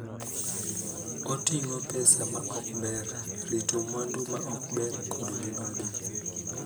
Oting�o pesa ma ok ber, rito mwandu ma ok ber, kod mibadhi.